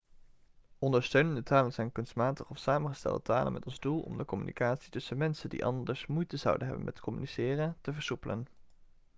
ondersteunende talen zijn kunstmatige of samengestelde talen met als doel om de communicatie tussen mensen die anders moeite zouden hebben met communiceren te versoepelen